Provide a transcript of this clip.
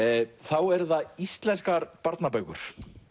eru það íslenskar barnabækur